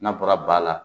N'a bɔra ba la